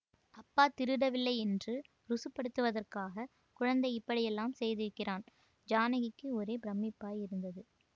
அப்பா திருடவில்லை என்று ருசுப்படுத்துவதற்காக குழந்தை இப்படியெல்லாம் செய்திருக்கிறான் ஜானகிக்கு ஒரே பிரமிப்பாய் இருந்தது